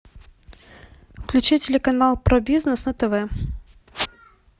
включи телеканал про бизнес на тв